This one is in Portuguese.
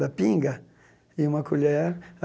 da pinga e uma colher.